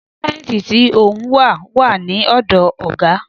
Dọ́kúmẹ́ǹtì tí òun wà, wà ní ọ̀dọ̀ ọ̀gá